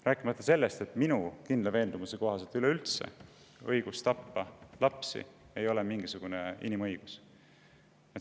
Rääkimata sellest, et minu kindla veendumuse kohaselt ei ole õigus lapsi tappa üleüldse mingisugune inimõigus.